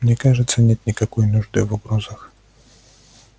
мне кажется нет никакой нужды в угрозах